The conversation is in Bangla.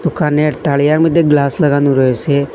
দোকানের তারিয়ার মধ্যে গ্লাস লাগানো রয়েসে।